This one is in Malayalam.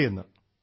സർ